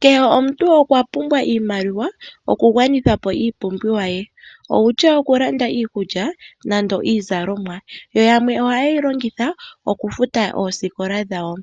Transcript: Kehe omuntu okwa pumbwa iimaliwa okugwanitha po iipumbiwa ye outya okulanda iikulya nande iizalomwa, yoyamwe ohayeyi longitha okufuta oosikola dhawo.